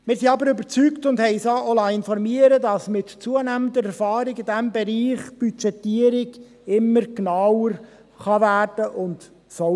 Wir sind aber überzeugt und haben uns auch informieren lassen, dass die Budgetierung mit zunehmender Erfahrung in diesem Bereich immer genauer werden kann und soll.